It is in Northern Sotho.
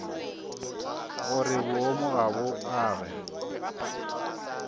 gore boomo ga bo age